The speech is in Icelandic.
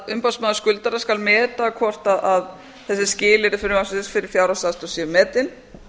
umboðsmaður skuldara skal meta hvort þessi skilyrði frumvarpsins fyrir fjárhagsaðstoð séu metin